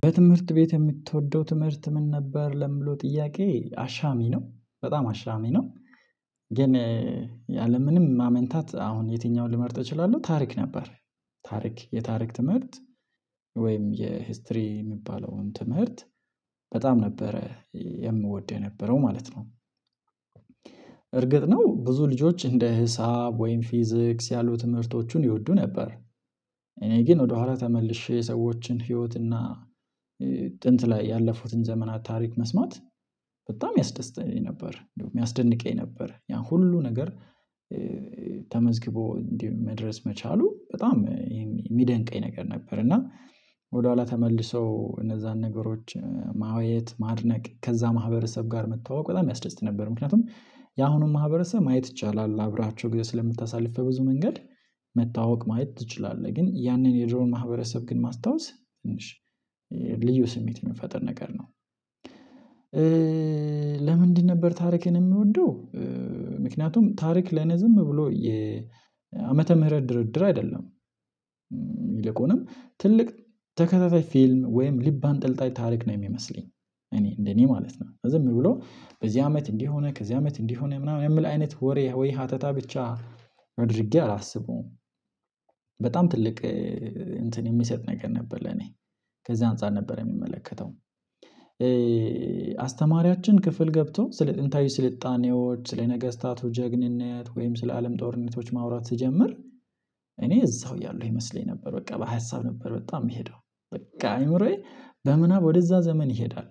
በትምህርት ቤት የምትወደው ትምህርት ምን ነበር? ለምለው ጥያቄ አሻሚ ነው በጣም አሽሚ ነው። ግን ያለምንም ማመንታት አሁን የትኛውን ልመርጥ እችላለሁ ታሪክ ነበር። ታሪክ የታሪክ ትምህርት ወይም የሂስትሪ የሚባለውን ትምህርት በጣም ነበረ የምወድ የነበረው ማለት ነው። እርግጥ ነው ብዙ ልጆች እንደ ህሳብ ወይም ፊዚክስ ያሉ ትምህርቶቹን ይወዱ ነበር። እኔ ግን ወደ ኋላ ተመልሼ የሰዎችን ህይወትና እና ጥንት ላይ ያለፉትን ዘመናት ታሪክ መስማት በጣም ያስደስተኝ ነበር የሚያስደንቀኝ ነበር ያ ሁሉ ነገር። ተመዝግቦ እንዲህ መድረስ መቻሉ በጣም የሚደንቀኝ ነገር ነበር። እና ወደኋላ ተመልሰው እነዚያን ነገሮች ማየት ማድነቅ ከዛ ማህበረሰብ ጋር መተዋወቅ በጣም ያስደስት ነበር። ምክንያቱም የአሁኑኑ ማህበረሰብ ማየት ይቻላል አብራቸው ጊዜ ስለምታሳልፍ በብዙ መንገድ መታወቅ ማየት ትችላለህ ግን ያንን የድሮን ማህበረሰብ ግን ማስታወስ ትንሽ ልዩ ስሜት የምንፈጥር ነገር ነው። ለምንድን ነበር ታሪክን የምወደው? ምክንያቱም ታሪክ ለኔ ዝም ብሎ የአመተ ምህረት ድርድር አይደለም። ይልቁንም ትልቅ ተከታታይ ፊልም ወይም ልብ አንጠልጣይ ታሪክ ነው የሚመስለኝ እኔ እንደኔ ማለት ነው ዝም ብሎ በዚህ አመት እንዲህ ሆነ ከዚህ አመት እንዲህ ሆነ ምናምን የምል አይነት ወሬ ወይ ሀተታ ብቻ አድርጌ አላስበውም። በጣም ትልቅ እንትን የሚሰጥ ነገር ነበር ለኔ ከዚህ አንፃር ነበር የሚመለከተው። አስተማሪያችን ክፍል ገብቶ ስለ ጥንታዊ ስልጣኔዎች ስለነገስታቱ ጀግንነት ወይም ስለ አለም ጦርነቶች ማውራት ስጀምር እኔ እዛው ያሉኝ ይመስለኝ ነበር በቃ በሀሳብ ነበር በጣም የምሄደው በቃ አይምሮዬ በምናብ ወደዛ ዘመን ይሄዳል።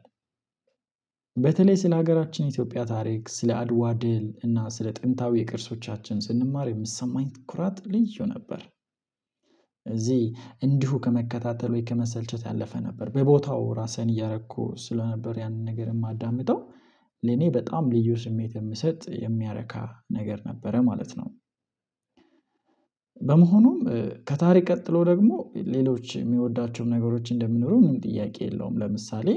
በተለይ ስለ ሀገራችን የኢትዮጵያ ታሪክ ስለ አድዋ ድል እና ስለ ጥንታዊ የቅርሶቻችን ስንማር የምሰማኝ ኩራት ልዩ ነበር። እዚህ እንዲሁ ከመከታተሉ ከመሰልቸት ያለፈ ነበር በቦታው ራሴን እያረኩ ስለነበር ያንን ነገር የማዳምጠው ለኔ በጣም ልዩ ስሜት የምሰጥ የሚያረካ ነገር ነበረ ማለት ነው። በመሆኑም ከታሪክ ቀጥሎ ደግሞ ሌሎች የሚወዳቸውም ነገሮች እንደምንኖር ምንም ጥያቄ የለውም። ለምሳሌ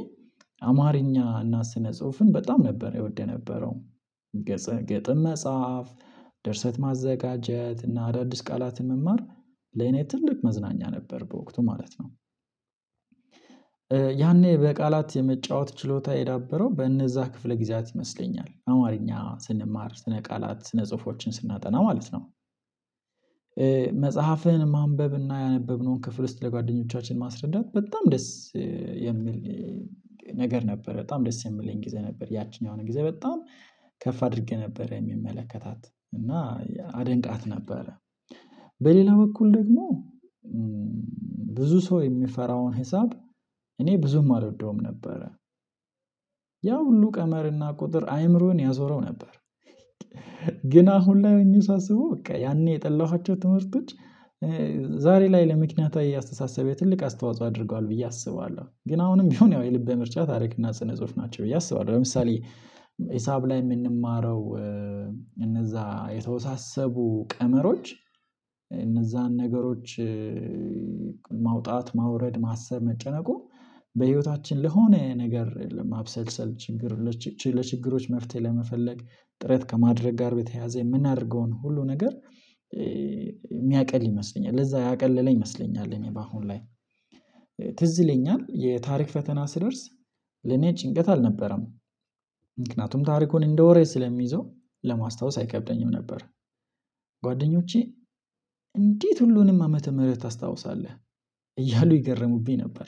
አማርኛ እና ስነ ጽሁፍን በጣም ነበር እወደ የነበረው። ግጥም መጻፍ ደርሰት ማዘጋጀት እና አዳዲስ ቃላትን መማር ለኔ ትልቅ መዝናኛ ነበር በወቅቱ ማለት ነው። ያኔ በቃላት የመጫወት ችሎታ የዳበረው በእነዚያ ክፍለ ጊዜያት ይመስለኛል አማርኛ ስንማር ስነ ቃላት ስነ ጽሁፎችን ስናጠና ማለት ነው። መጽሐፍህን ማንበብና ያነበብነውን ክፍል ውስጥ ለጓደኞቻችን ማስረዳት በጣም ደስ የሚል ነገር ነበር በጣም ደስ የሚለኝ ጊዜ ነበር ያቺኛውን ጊዜ በጣም ከፍ አድርጌ ነበር የሚመለከታት እና አደንቃት ነበረ። በሌላ በኩል ደግሞ ብዙ ሰው የሚፈራውን ሂሳብ እኔ ብዙም አልወደውም ነበረ። ያ ሁሉ ቀመርና ቁጥር አይምሮን ያዞረው ነበር። ግን አሁን ላይ ሆኜ ሳስበው በቃ ያኔ የጠላኋቸው ትምህርቶች ዛሬ ላይ ለምክንያታዊ አስተሳሰቤ ትልቅ አስተዋጽኦ አድርጓል ብዬ አስባለሁ። ግን አሁንም ቢሆን ያው የልቤ ምርጫ ታሪክና ስነ ጽሁፍ ናቸው ብዬ አስባለሁ። ለምሳሌ ሂሳብ ላይ የምንማረው እነዚያ የተወሳሰቡ ቀመሮች እነዚያን ነገሮች ማውጣት ማውረድ ማሰብ መጨነቁ በህይወታችን ለሆነ ነገር ለመብሰልሰል ችግር ለችግሮች መፍትሄ ለመፈለግ ጥረት ከማድረግ ጋር በተያያዘ የምናደርገውን ሁሉ ነገር የሚያቀል ይመስለኛል ለዛ ያቀለለ ይመስለኛል እኔ በአሁን ላይ ትዝ ይለኛል የታሪክ ፈተና ስደርስ ለኔ ጭንቀት አልነበረም። ምክንያቱም ታሪኩን እንደ ወሬ ስለሚይዘው ለማስታወስ አይከብደኝም ነበር። ጓደኞቼ እንዴት ሁሉንም ዓመተ ምህረት ታስታውሳለህ? እያሉ ይገርሙብኝ ነበር።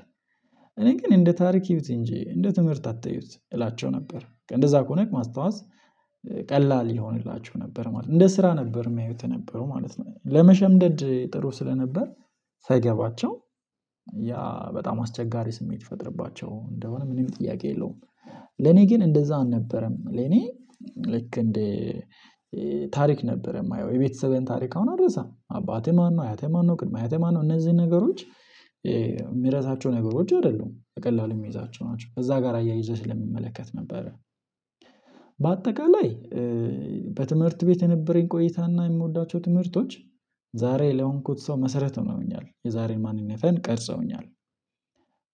እኔ ግን እንደ ታሪክ እዩት እንጂ እንደ ትምህርት አትዩት እላቸው ነበር እንደዛ ከሆነ ማስታወስ ቀለል ይሆንላችሁ ነበር ማለት ነው። እንደ ስራ ነበር የሚያዩት የነበረው ማለት ነው። ለመሸምደድ ጥሩ ስለነበር ሳይገባቸው ያ በጣም አስቸጋሪ ስሜት ይፈጥርባቸው እንደሆነ ምንም ጥያቄ የለውም። ለኔ ግን እንደዛ አልነበረም ለኔ ልክ እንዴ? ታሪክ ነበረ የማየው የቤተሰቤን ታሪክ አሁን አልረሳም አባቴ ማነው አያቴ ማነው? ቅድመ አያቴ ማነው? እነዚህን ነገሮች የሚረሳቸው ነገሮች አይደሉም በቀላሉ የሚይዛቸው ናቸው ከዛ ጋር አያይዘህ ስለሚመለከት ነበረ። በአጠቃላይ በትምህርት ቤት የነበረኝ ቆይታና የምወዳቸው ትምህርቶች ዛሬ ለሆንኩት ሰው መሰረት ሆኖኛል የዛሬን ማንነትን ቀርጸውኛል።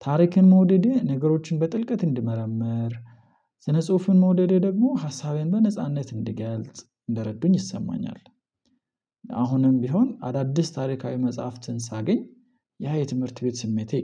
ታሪክን መውደዴ ነገሮችን በጥልቀት እንድመረምር ስነ ጽሁፉን መውደዴ ደግሞ ሀሳቤን በነጻነት እንድገልጽ እንደረዱኝ ይሰማኛል። ቢሆን አዳዲስ ታሪካዊ መጽሐፍትን ሳገኝ ያ የትምህርት ቤት ስሜቴ